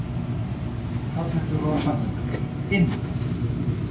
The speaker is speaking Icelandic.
Hrafnhildur og Sandra Mjöll: Inn?